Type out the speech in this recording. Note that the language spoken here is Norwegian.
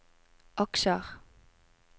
aksjer